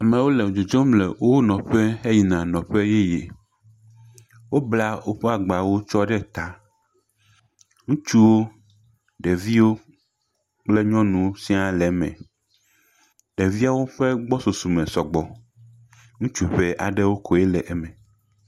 Amewo le dzodzom le woƒe nɔƒe he yia nɔƒe yeye. Wobla wo ƒe agbawo tsɔ ɖe ta. Ŋutsuwo, ɖeviwo kple nyɔnuwo sɛ̃a le eme. Ɖeviawo ƒe gbɔsusume sugbɔ, ŋutsu ŋɛ ɖe koe le wo me.